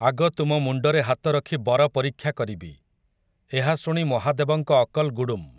ଆଗ ତୁମ ମୁଣ୍ଡରେ ହାତରଖି ବର ପରୀକ୍ଷା କରିବି, ଏହାଶୁଣି ମହାଦେବଙ୍କ ଅକଲ୍ ଗୁଡ଼ୁମ୍ ।